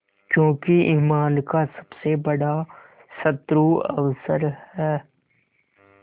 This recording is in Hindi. क्योंकि ईमान का सबसे बड़ा शत्रु अवसर है